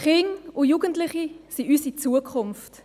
Kinder und Jugendliche sind unsere Zukunft.